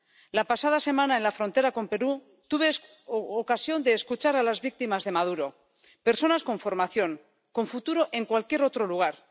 La pasada semana, en la frontera con Perú, tuve ocasión de escuchar a las víctimas de Maduro personas con formación, con futuro en cualquier otro lugar